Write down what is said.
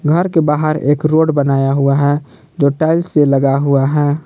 घर के बाहर एक रोड बनाया हुआ है जो टाइल्स से लगा हुआ है।